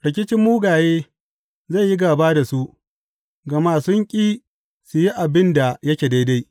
Rikicin mugaye zai yi gāba da su, gama sun ƙi su yi abin da yake daidai.